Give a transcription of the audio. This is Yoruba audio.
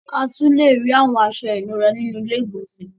A tún lè rí àwọn aṣọ ìnura nínú ilé-ìgbọ̀nsẹ̀